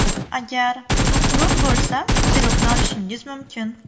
Agar u quruq bo‘lsa pirogni olishingiz mumkin.